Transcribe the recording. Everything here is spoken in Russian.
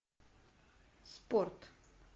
спорт